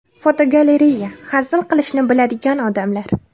Fotogalereya: Hazil qilishni biladigan odamlar.